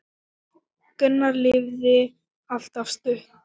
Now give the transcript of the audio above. Gunnar lifði allt of stutt.